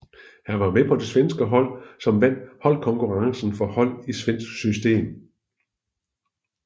Han var med på det svenske hold som vandt holdkonkurrencen for hold i svensk system